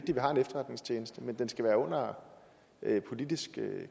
har en efterretningstjeneste men den skal være under politisk